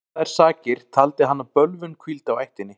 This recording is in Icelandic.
Fyrir þær sakir taldi hann að bölvun hvíldi á ættinni.